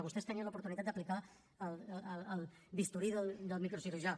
vostès tenien l’oportunitat d’aplicar el bisturí del microcirurgià